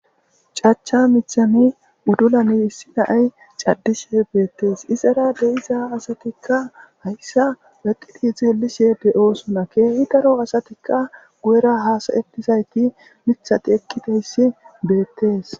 cacha mithani uddulani issi naay caddishe beettees izara deiza asatikka hayssa weqqidi xeelishe de7oosuna keehi daro asatikka gu7era haasayetizayti mithati ekkiteyssi beettees